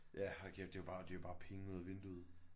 Ja hold kæft det er jo bare det er jo bare penge ud af vinduet